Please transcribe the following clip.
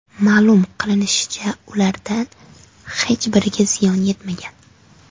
Ma’lum qilinishicha, ulardan hech biriga ziyon yetmagan.